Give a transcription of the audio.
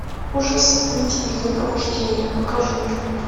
ужас амитивилля пробуждение покажи мне